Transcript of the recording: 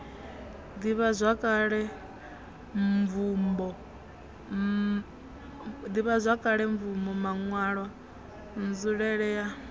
ḓivhazwakale mvumbo maṋwalwa nzulele ya